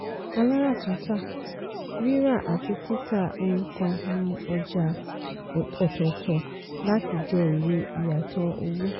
aláràtúntà - ríra àti títà ohun kan ní ọjà ọ̀tọ̀ọ̀tọ̀ láti jẹ èrè ìyàtọ̀ owó.